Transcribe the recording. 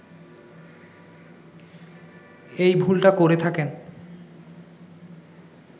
এই ভুলটা করে থাকেন